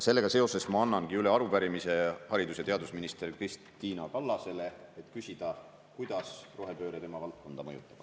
Sellega seoses ma annangi üle arupärimise haridus‑ ja teadusminister Kristina Kallasele, et küsida, kuidas rohepööre tema valdkonda mõjutab.